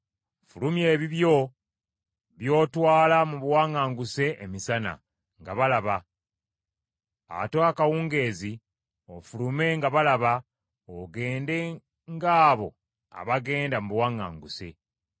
Fulumya ebibyo by’otwala mu buwaŋŋanguse emisana, nga balaba. Ate akawungeezi, ofulume nga balaba, ogende ng’abo abagenda mu buwaŋŋanguse.